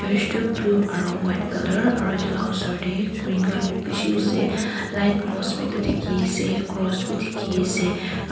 tu blue aro white colour aro etu la osor te green khanbi beshi ase light post bi dekhi ase cross bi dekhi ase aro--